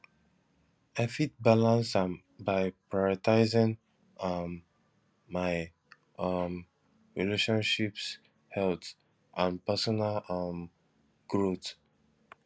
i fit balance am by prioritizing um my um relationships health and personal um growth